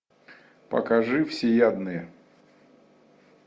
покажи всеядные